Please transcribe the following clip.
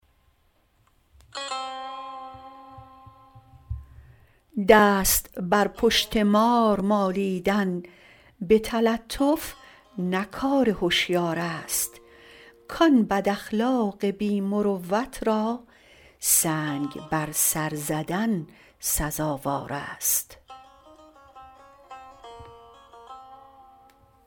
دست بر پشت مار مالیدن به تلطف نه کار هشیارست کان بداخلاق بی مروت را سنگ بر سر زدن سزاوار است